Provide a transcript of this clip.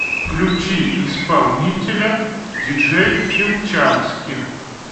включи исполнителя диджей филчански